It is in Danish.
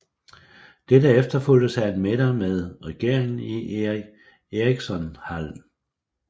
Dette efterfulgtes af en middag med regeringen i Eric Ericsonhallen